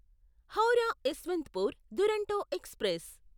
Howrah Yesvantpur Duronto express